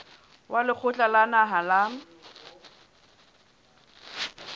wa lekgotla la naha la